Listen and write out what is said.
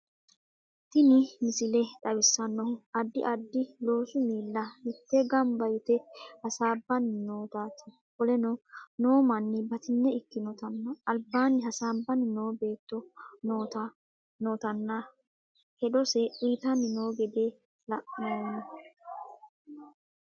tinni miisile xawisannohu addi addi loosu miila miite gaanba yiite hasabanni nootatti kolenno noo manni baatigne ikkinotana albanni haasabanni noo beetono nootana heedose uuyitanni noo gedee laanommo.